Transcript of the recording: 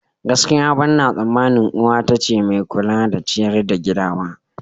Gaskiya, ɓanna tsamanin uwa ta ce mai kula da ciyar da gida ba.